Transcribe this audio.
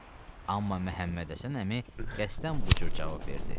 Amma Məhəmmədhəsən əmi qəsdən bu cür cavab verdi.